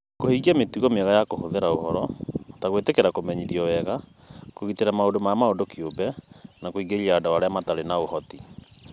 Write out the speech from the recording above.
Kũhingia mĩtugo mĩega ya kũhũthĩra ũhoro, ta gwĩtĩkĩra kũmenyithio wega, kũgitĩra maũndũ ma mũndũ kĩũmbe, na kũingĩria andũ arĩa matarĩ na ũhoti.